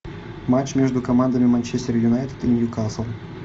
матч между командами манчестер юнайтед и ньюкасл